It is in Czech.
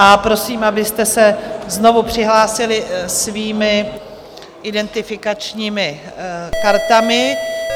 A prosím, abyste se znovu přihlásili svými identifikačními kartami.